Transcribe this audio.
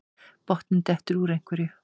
Botninn dettur úr einhverju